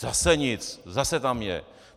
Zase nic, zase tam je.